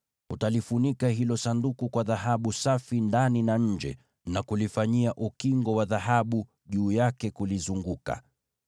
Utalifunika hilo Sanduku kwa dhahabu safi ndani na nje, na kulifanyia ukingo wa dhahabu juu yake kulizunguka.